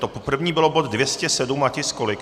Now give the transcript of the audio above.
To první bylo bod 207 a tisk kolik?